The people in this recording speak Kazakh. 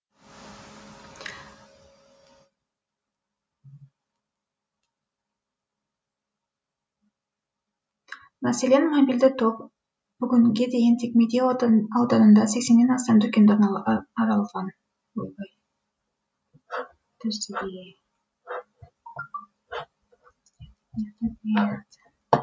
мәселен мобильді топ бүгінге дейін тек медеу ауданында сексеннен астам дүкенді аралаған